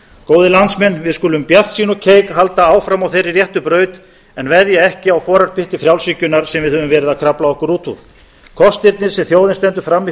góðir landsmenn við skulum bjartsýn og keik halda áfram á þeirri réttu braut en veðja ekki á forarpytti frjálshyggjunnar sem við höfum verið að krafla okkur út úr kostirnir sem þjóðin stendur frammi